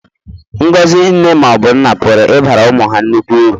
Ngọzi nne ma ọ bụ nna pụrụ ịbara ụmụ ha nnukwu uru.